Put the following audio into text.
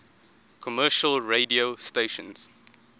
commercial radio stations